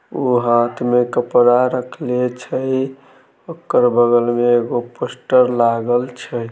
ऊ हाथ में कपड़ा रखले छै ओकर बगल में एगो पोस्टर लागल छै।